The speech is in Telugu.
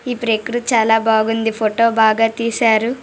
ఈ ప్రక్రుతి చాల బాగుంది ఫోటో బాగా తీశారు .